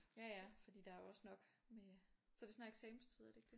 Ja ja fordi der er jo også nok med så er det snart eksamenstid er det ikke det?